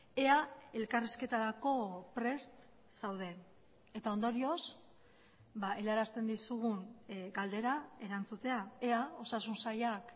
ea elkarrizketarako prest zauden eta ondorioz helarazten dizugun galdera erantzutea ea osasun sailak